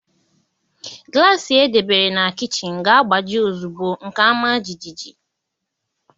Glassị e debere na kichin ga-agbaji ozugbo nke a maa jijiji